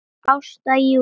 Þín Edda Júlía.